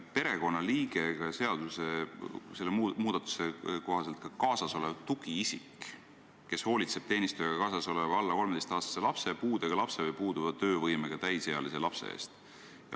Eelnõu ja selle seadusmuudatuse kohaselt on perekonnaliige ka kaasasolev tugiisik, kes hoolitseb teenistujaga kaasasoleva alla 13-aastase lapse, puudega lapse või puuduva töövõimega täisealise lapse eest.